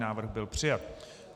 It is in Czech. Návrh byl přijat.